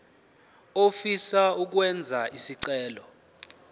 ofisa ukwenza isicelo